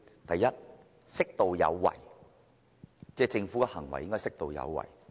第一，政府的行為應適度有為。